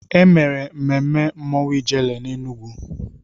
E mere mmemme mmọnwụ Ijele n'Enugwu.